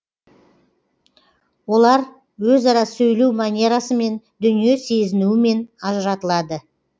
олар өзара сөйлеу манерасымен дүние сезінуімен ажыратылады